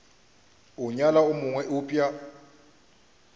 a nyala yo mongwe eupša